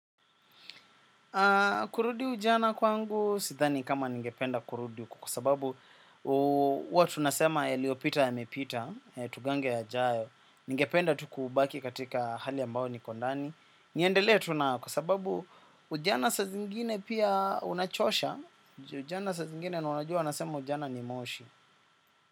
Kurudi ujana kwangu sidhani kama ningependa kurudi kwa sababu hwa tunasema yaliyopita yamepita, tugange yajayo, ningependa tu kubaki katika hali ambayo niko ndani, niendelee tu nao kwa sababu ujana saa zingine pia unachosha, ujana saa zingine na unajua nasema ujana ni moshi.